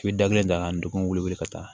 I bɛ da kelen ta ka n degun weele ka taa